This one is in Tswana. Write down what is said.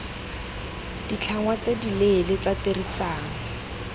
ditlhangwa tse dileele tsa tirisano